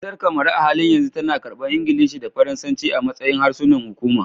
Kasar Kamaru, a halin yanzu tana karbar Ingilishi da Faransanci a matsayin harsunan hukuma